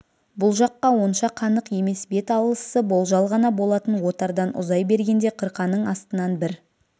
бұл жаққа онша қанық емес бет алысы болжал ғана болатын отардан ұзай бергенде қырқаның астынан бір